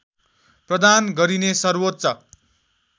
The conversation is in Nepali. प्रदान गरिने सर्वोच्च